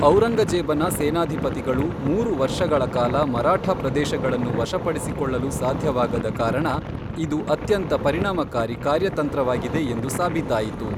ಔರಂಗಜೇಬನ ಸೇನಾಧಿಪತಿಗಳು ಮೂರು ವರ್ಷಗಳ ಕಾಲ ಮರಾಠ ಪ್ರದೇಶಗಳನ್ನು ವಶಪಡಿಸಿಕೊಳ್ಳಲು ಸಾಧ್ಯವಾಗದ ಕಾರಣ ಇದು ಅತ್ಯಂತ ಪರಿಣಾಮಕಾರಿ ಕಾರ್ಯತಂತ್ರವಾಗಿದೆ ಎಂದು ಸಾಬೀತಾಯಿತು.